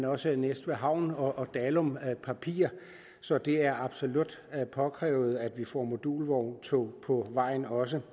også næstved havn og dalum papir så det er absolut påkrævet at vi får modulvogntog på vejen også